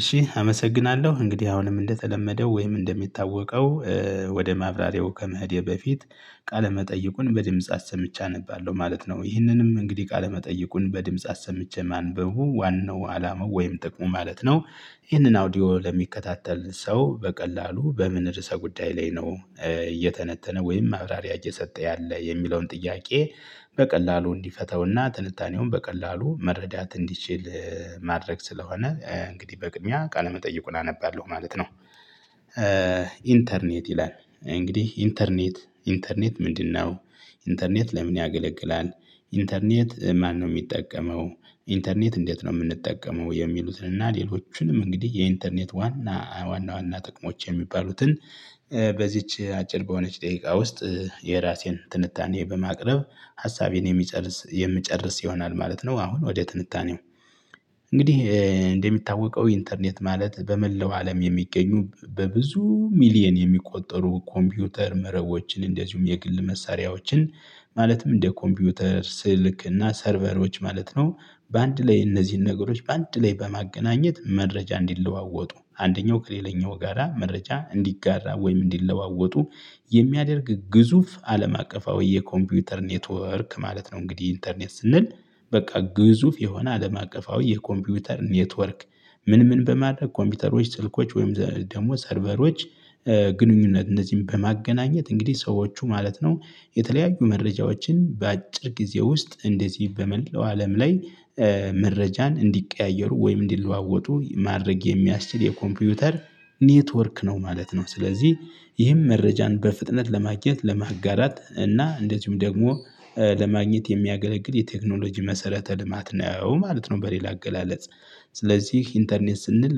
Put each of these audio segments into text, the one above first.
እሽ አመሰግናለሁ። እንግዲህ አሁንም እንደተለመደው ወይም እንደሚታወቀው ወደ ማብራሪያው ከመሄዴ በፊት ቃለ መጠይቁን በድምጽ አሰምቼ አነባለሁ ማለት ነው ይህንንም እንግዲህ ቃለመጠይቁን በድምጽ አሰምቼ ማንበቡ ዋናው አላማው ወይም ጥቅሙ ማለት ነው። ይህንን አውዲዮ ለሚከታተል ሰው በቀላሉ በምን ርዕሰ ጉዳይ ላይ ነው እየተነተነ ወይም ማብራሪያ እየሰጠ ያለ የሚለውን ጥያቄ። በቀላሉ እንዲፈተውና ትንታኔውን በቀላሉ መረዳት እንዲችል ማድረግ ስለሆነ እንግዲህ በቅድሚያ ቃለ መጠይቁና አነባለሁ ማለት ነው። ኢንተርኔት ይላል እንግዲህ ኢንተርኔት ኢንተርኔት ምንድነው? ኢንተርኔት ለምን ያገለግላል? ኢንተርኔት ማነው የሚጠቀመው? ኢንተርኔት እንዴት የምንጠቀመው የሚሉትን እና ሌሎቹንም እንግዲህ የኢንተርኔት ዋና ዋና ዋና ጥቅሞች የሚባሉትን። በዚች አጭር በሆነች ደቂቃ ውስጥ የራሴን ትንታኔ በማቅረብ ሀሳቤን የሚጨርስ የምጨርስ ይሆናል ማለት ነው። አሁን ወደ ትንታኔው እንግዲህ እንደሚታወቀው ኢንተርኔት ማለት በመላው አለም የሚገኙ በብዙ ሚሊየን የሚቆጠሩ ኮምፒውተር መረቦችን እንደዚሁም የግል መሳሪያዎችን ማለትም እንደ ኮምፒውተር ስልክ እና ሰርቨሮች ማለት ነው። በአንድ ላይ እነዚህን ነገሮች በአንድ ላይ በማገናኘት መረጃ እንዲለዋወጡ አንደኛው ከሌላኛው ጋራ መረጃ እንዲጋራ ወይም እንዲለዋወጡ የሚያደርግ ግዙፍ አለም አቀፋዊ የኮምፒውተር ኔትወርክ ማለት ነው። እንግዲህ ኢንተርኔት ስንል በቃ ግዙፍ የሆነ አለም አቀፋዊ የኮምፒውተር ኔትወርክ። ምን ምን በማድረግ ኮምፒውተሮች ስልኮች ወይም ደግሞ ሰርቨሮች ግንኙነት እነዚህን በማገናኘት እንግዲህ ሰዎቹ ማለት ነው። የተለያዩ መረጃዎችን በአጭር ጊዜ ውስጥ እንደዚህ በመለው አለም ላይ መረጃን እንዲቀያየሩ ወይም እንዲለዋወጡ ማድረግ የሚያስችል የኮምፒውተር ኔትወርክ ነው ማለት ነው። ስለዚህ ይህም መረጃን በፍጥነት ለማግኘት ለማጋራት እና እንደዚሁም ደግሞ ለማግኘት የሚያገለግል የቴክኖሎጂ መሰረተ ልማት ነው ማለት ነው። በሌላ አገላለጽ ስለዚህ ኢንተርኔት ስንል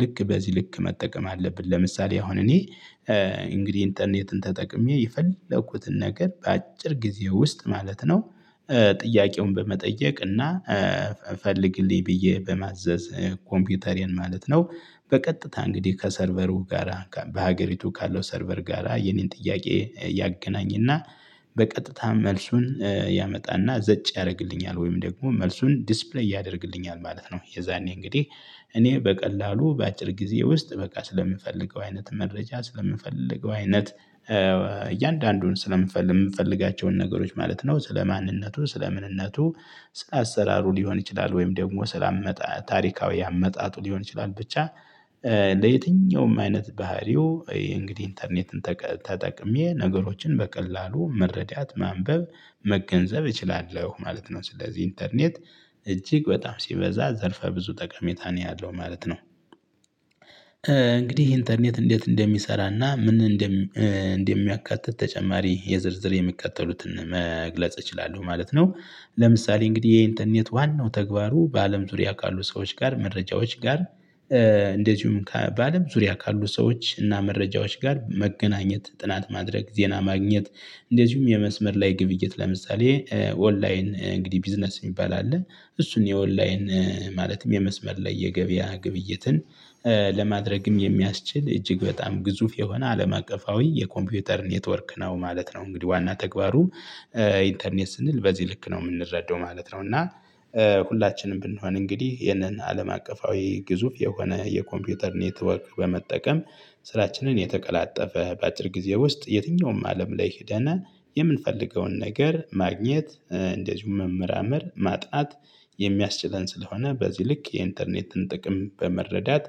ልክ በዚህ ልክ መጠቀም አለብን ለምሳሌ አሁን እኔ እንግዲህ ኢንተርኔትን ተጠቅሜ የፈለኩትን ነገር በአጭር ጊዜ ውስጥ ማለት ነው። ጥያቄውን በመጠየቅ እና ፈልግልኝ ብዬ በማዘዝ ኮምፒውተሬን ማለት ነው። በቀጥታ እንግዲህ ከሰርቨሩ ጋራ በሀገሪቱ ካለው ሰርቨር ጋራ የኔን ጥያቄ ያገናኝና በቀጥታም መልሱን ያመጣና ዘጭ ያደርግልኛል ወይም ደግሞ መልሱን ዲስፕሌይ ያደርግልኛል ማለት ነው። የዛኔ እንግዲህ እኔ በቀላሉ በአጭር ጊዜ ውስጥ በቃ ስለምንፈልገው አይነት መረጃ ስለምንፈልገው አይነት እያንዳንዱን ስለምንፈልግ የምፈልጋቸውን ነገሮች ማለት ነው። ስለ ማንነቱ ስለ ምንነቱ ስለ አሰራሩ ሊሆን ይችላል ወይም ደግሞ ስለ አመጣጥ ታሪካዊ አመጣጡ ሊሆን ይችላል ብቻ። ለየትኛውም አይነት ባህሪው እንግዲህ ኢንተርኔትን ተጠቅሜ ነገሮችን በቀላሉ መረዳት ማንበብ መገንዘብ እችላለሁ ማለት ነው። ስለዚህ ኢንተርኔት እጅግ በጣም ሲበዛ ዘርፈ ብዙ ጠቀሜታ ነው ያለው ማለት ነው። እንግዲህ ኢንተርኔት እንዴት እንደሚሰራና ምን እንደሚያካትት ተጨማሪ የዝርዝር የሚቀጥሉትን መግለጽ እችላለሁ ማለት ነው። ለምሳሌ እንግዲህ የኢንተርኔት ዋናው ተግባሩ በአለም ዙሪያ ካሉ ሰዎች ጋር መረጃዎች ጋር እንደዚሁም በአለም ዙሪያ ካሉ ሰዎች እና መረጃዎች ጋር መገናኘት ጥናት ማድረግ ዜና ማግኘት። እንደዚሁም የመስመር ላይ ግብይት ለምሳሌ ኦንላይን እንግዲህ ቢዝነስ የሚባል አለ። እሱን የኦንላይን ማለትም የመስመር ላይ የገበያ ግብይትን ለማድረግም የሚያስችል እጅግ በጣም ግዙፍ የሆነ አለም አቀፋዊ የኮምፒውተር ኔትወርክ ነው ማለት ነው። እንግዲህ ዋና ተግባሩ ኢንተርኔት ስንል በዚህ ልክ ነው የምንረዳው ማለት ነው። እና ሁላችንም ብንሆን እንግዲህ ይህንን አለም አቀፋዊ ግዙፍ የሆነ የኮምፒውተር ኔትወክ በመጠቀም። ስራችንን የተቀላጠፈ በአጭር ጊዜ ውስጥ የትኛውም አለም ላይ ሄደና የምንፈልገውን ነገር ማግኘት እንደዚሁም መመራመር ማጥናት የሚያስችለን ስለሆነ በዚህ ልክ የኢንተርኔትን ጥቅም በመረዳት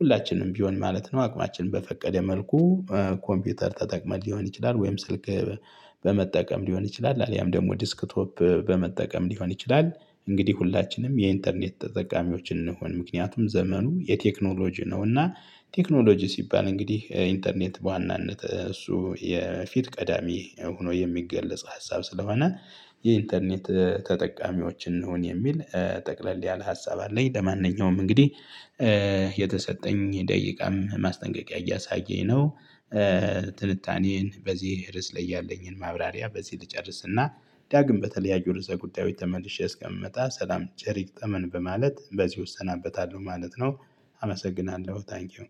ሁላችንም ቢሆን ማለት ነው። አቅማችን በፈቀደ መልኩ ኮምፒውተር ተጠቅመን ሊሆን ይችላል ወይም ስልክ በመጠቀም ሊሆን ይችላል አሊያም ደግሞ ዴስክቶፕ በመጠቀም ሊሆን ይችላል። እንግዲህ ሁላችንም የኢንተርኔት ተጠቃሚዎች እንሁን ምክንያቱም ዘመኑ የቴክኖሎጂ ነውና። ቴክኖሎጂ ሲባል እንግዲህ ኢንተርኔት በዋናነት እሱ የፊት ቀዳሚ ሆኖ የሚገለጽ ሀሳብ ስለሆነ። የኢንተርኔት ተጠቃሚዎች እንሁን የሚል ጠቅለል ያለ ሀሳብ አለኝ። ለማንኛውም እንግዲህ የተሰጠኝ ደቂቃም ማስጠንቀቂያ እያሳየኝ ነው። ትልታኔን በዚህ ርዕስ ላይ ያለኝን ማብራሪያ በዚህ ልጨርስና ዳግም በተለያዩ ርዕሰ ጉዳዮች ተመልሼ እስከምመጣ ሰላም ቸር ይግጠመን በማለት በዚሁ እሰናበታለሁ ማለት ነው። አመሰግናለሁ ታንኪው።